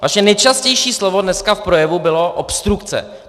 Vaše nejčastější slovo dneska v projevu bylo obstrukce.